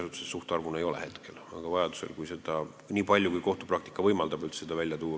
Aga kui vaja, siis kindlasti on võimalik seda informatsiooni saada, niipalju kui kohtupraktika üldse võimaldab seda välja tuua.